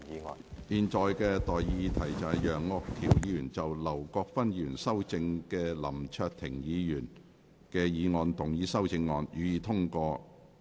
我現在向各位提出的待議議題是：楊岳橋議員就經劉國勳議員修正的林卓廷議員議案動議的修正案，予以通過。